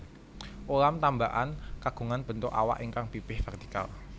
Ulam tambakan kagungan bentuk awak ingkang pipih vertikal